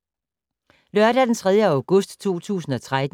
Lørdag d. 3. august 2013